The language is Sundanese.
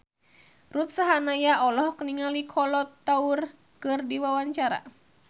Ruth Sahanaya olohok ningali Kolo Taure keur diwawancara